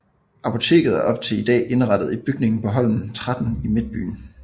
Apoteket er op til i dag indrettet i bygningen på Holmen 13 i midtbyen